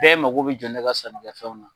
Bɛɛ mako bɛ jɔ ne ka sannikɛfɛnw na.